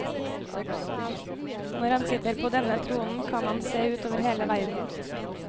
Når han sitter på denne tronen, kan han se ut over hele verden.